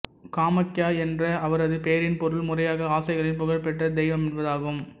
காமாக்யா என்ற அவரது பெயரின் பொருள் முறையாக ஆசைகளின் புகழ்பெற்ற தெய்வம்என்பதாகும்